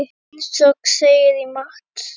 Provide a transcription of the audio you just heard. Eins og segir í Matt.